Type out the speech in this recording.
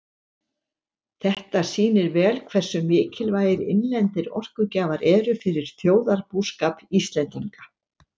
Þetta sýnir vel hversu mikilvægir innlendir orkugjafar eru fyrir þjóðarbúskap Íslendinga.